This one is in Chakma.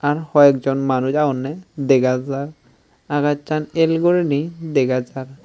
ar hoiekjon manuj agonney dega jar agassan el guriney dega jar.